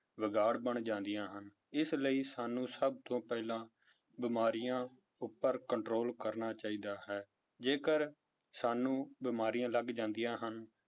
ਵਿਗਾੜ ਬਣ ਜਾਂਦੀਆਂ ਹਨ, ਇਸ ਲਈ ਸਾਨੂੰ ਸਭ ਤੋਂ ਪਹਿਲਾਂ ਬਿਮਾਰੀਆਂ ਉੱਪਰ control ਕਰਨਾ ਚਾਹੀਦਾ ਹੈ, ਜੇਕਰ ਸਾਨੂੰ ਬਿਮਾਰੀਆਂ ਲੱਗ ਜਾਂਦੀਆਂ ਹਨ